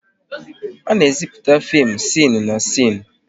A na-ezipụte fim sịnụ na sịnụ